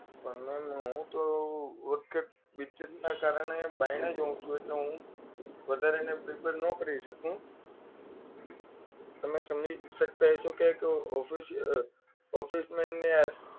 પણ મેમ હું તો business ના કારણે બાયણે જ હોવું છું એટલે હું વધારે એને prepare ના કરી શકું તમે સમજી શકતા હશો કે એક office office man ને આ